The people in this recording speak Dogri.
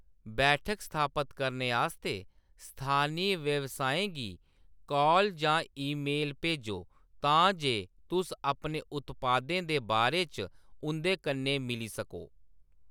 बैठक स्थापत करने आस्तै स्थानी व्यवसायें गी कॉल जां ईमेल भेजो तां जे तुस अपने उत्पादें दे बारे च उंʼदे कन्नै मिली सको।